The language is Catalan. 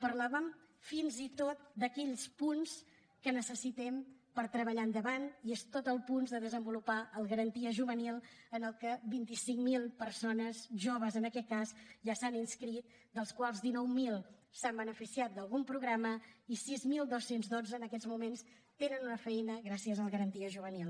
parlàvem fins i tot d’aquells punts que necessitem per treballar endavant i tots els punts de desenvolupar el garantia juvenil en què vint cinc mil persones joves en aquest cas ja s’hi han inscrit dels quals dinou mil s’han beneficiat d’algun programa i sis mil dos cents i dotze en aquests moments tenen una feina gràcies al garantia juvenil